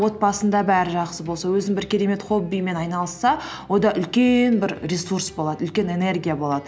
отбасында бәрі жақсы болса өзін бір керемет хоббимен айналысса үлкен бір ресурс болады үлкен энергия болады